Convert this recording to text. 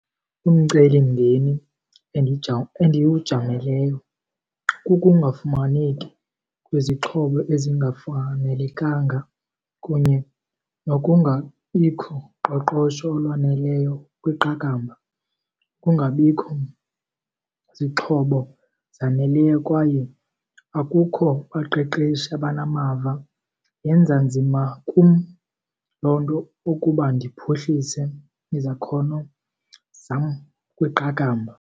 Umcelimngeni endiwujameleyo kukungafumaneki kwezixhobo ezingafanelekanga kunye nokungabikho qoqosho olwaneleyo kwiqakamba, kungabikho zixhobo zaneleyo kwaye akukho baqeqeshi abanamava. Yenza nzima kum loo nto ukuba ndiphuhlise izakhono zam kwiqakamba.